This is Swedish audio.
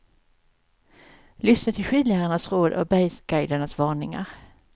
Lyssna till skidlärarnas råd och bergsguidernas varningar.